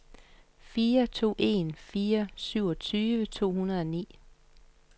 fire to en fire syvogtyve to hundrede og ni